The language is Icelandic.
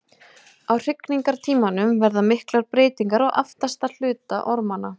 Á hrygningartímanum verða miklar breytingar á aftasti hluta ormanna.